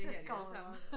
Så kommer